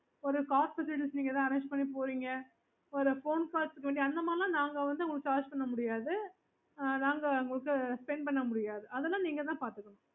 ஒரு நீங்க corporate agency ஏதாச்சு arrange பண்ணி போறீங்க அந்த மாதிரி லாம் நாங்க வந்து உங்கள charge பண்ண முடியாது நாங்க உங்களுக்கு spend பண்ண முடியாது அதெல்லாம் நீங்க தான் பாத்துக்கணும்